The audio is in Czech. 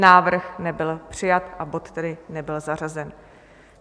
Návrh nebyl přijat, a bod tedy nebyl zařazen.